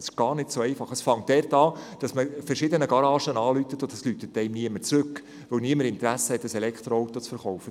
Es ist gar nicht so einfach und fängt damit an, dass man bei verschiedenen Garagen anfragt, jedoch niemand zurückruft, weil niemand Interesse hat, ein Elektroauto zu verkaufen.